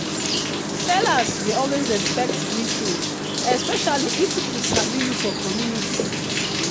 sellers dey always expect greeting especially if people sabi you for community.